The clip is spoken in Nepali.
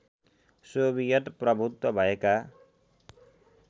सोभियत प्रभुत्व भएका